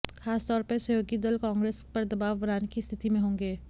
खासतौर पर सहयोगी दल कांग्रेस पर दबाव बनाने की स्थिति में होंगे